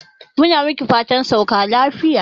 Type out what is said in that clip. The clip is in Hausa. Mu na miki fatan sauka lafiya.